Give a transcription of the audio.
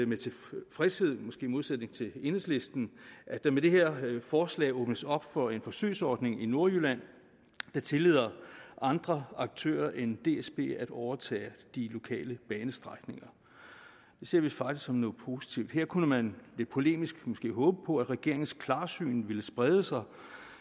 med tilfredshed måske i modsætning til enhedslisten at der med det her forslag åbnes op for en forsøgsordning i nordjylland der tillader andre aktører end dsb at overtage de lokale banestrækninger det ser vi faktisk som noget positivt her kunne man lidt polemisk måske håbe på at regeringens klarsyn ville sprede sig